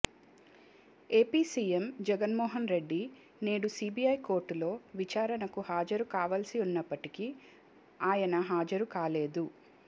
AP CM Jagan Mohan Reddy నేడు CBI కోర్టులో విచారణకు హాజరు కావాల్సి ఉన్నప్పటికీ ఆయన హాజరు కాలేదు